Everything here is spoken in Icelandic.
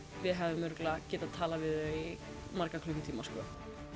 við hefðum örugglega getað talað við þau í marga klukkutíma sko